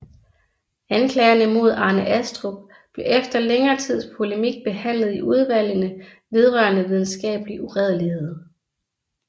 Anklagerne mod Arne Astrup blev efter længere tids polemik behandlet i Udvalgene vedrørende Videnskabelig Uredelighed